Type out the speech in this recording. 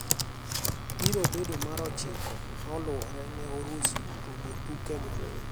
Biro bedo mar ochiko maluore ne Urusi tugo tuke go.